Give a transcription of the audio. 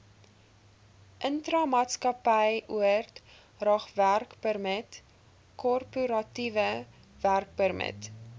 intramaatskappyoordragwerkpermit korporatiewe werkpermit